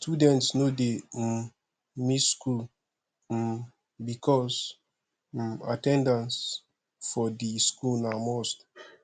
students no de um miss school um because um at ten dance for di school na must